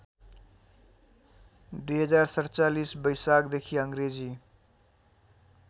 २०४७ बैशाखदेखि अङ्ग्रेजी